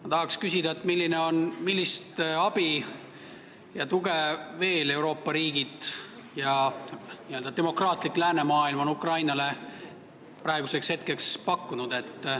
Ma tahaks küsida, millist abi ja tuge Euroopa riigid ja n-ö demokraatlik läänemaailm on Ukrainale praeguseks veel pakkunud.